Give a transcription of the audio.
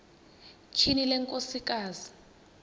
tyhini le nkosikazi